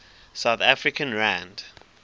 south african rand